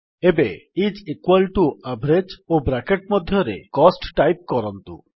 ଏବେ is equal to ହାରାହାରି ଓ ବ୍ରାକେଟ୍ ମଧ୍ୟରେ ଖର୍ଚ୍ଚ ଟାଇପ୍ କରନ୍ତୁ